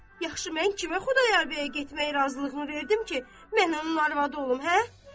Yaxşı, mən kimə Xudayar bəyə getmək razılığını verdim ki, mən onun arvadı olum, hə?